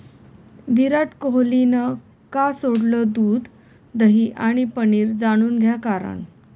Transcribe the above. विराट कोहलीनं का सोडलं दूध, दही आणि पनीर? जाणून घ्या कारण